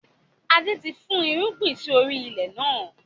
Adé ti fún irúgbìn sì orí ilẹ̀ náà.